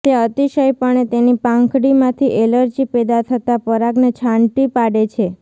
તે અતિશયપણે તેની પાંખડીમાંથી એલર્જી પેદા થતા પરાગને છાંટી પાડે છે